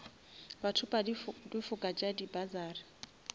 bathopa difoka tša di bursary